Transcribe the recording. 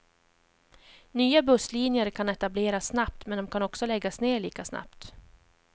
Nya busslinjer kan etableras snabbt, men de kan också läggas ner lika snabbt.